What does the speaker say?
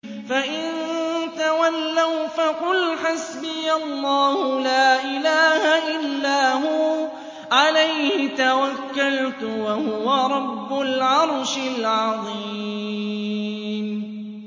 فَإِن تَوَلَّوْا فَقُلْ حَسْبِيَ اللَّهُ لَا إِلَٰهَ إِلَّا هُوَ ۖ عَلَيْهِ تَوَكَّلْتُ ۖ وَهُوَ رَبُّ الْعَرْشِ الْعَظِيمِ